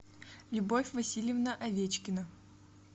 любовь васильевна овечкина